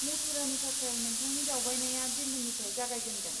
मथुरानि थाखाय नोंथांनि दावबायनाया दिल्लीनिफ्राय जागायजेनगोन।